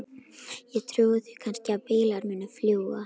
Ég trúi því kannski að bílar muni fljúga.